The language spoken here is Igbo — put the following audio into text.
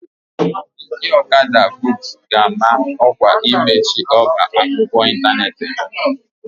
Ndị Okada books ga-ama ọkwa imechi ọba akwụkwọ ịntanetị ha.